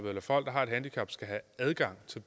at folk der har et handicap skal have adgang til